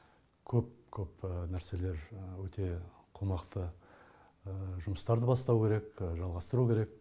көп көп нәрселер өте қомақты жұмыстарды бастау керек жалғастыру керек